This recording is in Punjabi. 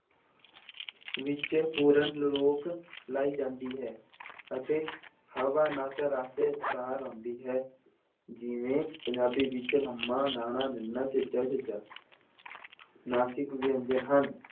ਵਿੱਚ ਪੂਰਨ ਰੋਕ ਲਾਈ ਜਾਂਦੀ ਹੈ ਅਤੇ ਹਵਾ ਨੱਕ ਰਸਤੇ ਬਾਹਰ ਆਉਂਦੀ ਹੈ ਜਿਵੇਂ ਪੰਜਾਬੀ ਵਿੱਚ ਮੱਮਾ, ਣਾਣਾ, ਨੱਨਾ, ਚੱਚਾ, ਝੱਝਾ ਨਾਸਿਕ ਵਿਅੰਜਨ ਹਨ।